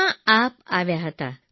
જેમાં આપ આવ્યા હતા